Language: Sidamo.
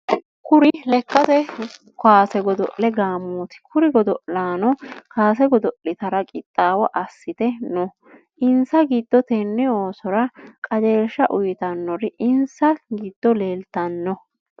Kuri lekate kaase godo'le gaamooti. Kuri godo'laano kaase godo'litara qixaawo asite no. Insa gido tenne oosora qajeelsha uyitanori insa gido leeltano.